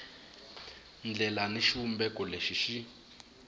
ndlela ni xivumbeko lexi xi